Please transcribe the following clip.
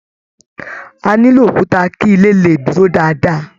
A nilo òkúta kí ilé le dúró dáadáa.